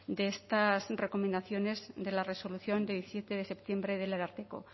de estas recomendaciones de la resolución de diecisiete de septiembre del ararteko